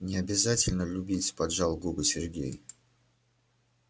не обязательно любить поджал губы сергей